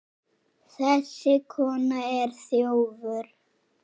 Þessi kona er þjófur.